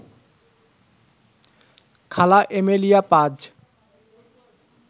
খালা এমেলিয়া পাজ